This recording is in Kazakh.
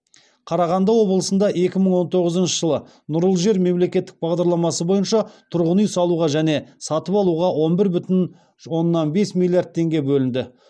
қарағанды облысында екі мың он тоғызыншы жылы нұрлы жер мемлекеттік бағдарламасы бойынша тұрғын үй салуға және сатып алуға он бір бүтін оннан бес миллиард теңге бөлінді